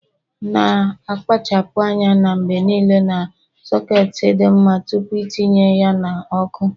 Na -akpachapụ anya mgbe niile na soketi dị mma tupu itinye ya n' ọkụ